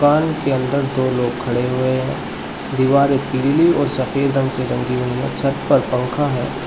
दुकान के अंदर दो लोग खड़े हुए है दीवारे पीली और सफेद रंग से रंगी हुई है छत पर पंखा है।